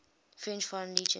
french foreign legion